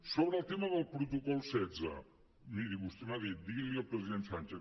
sobre el tema del protocol setze miri vostè m’ha dit digui li al president sánchez